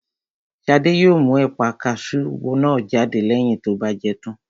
Shade yóò mú ẹ̀pà kasú náà jáde lẹ́yìn tó bá jẹ tán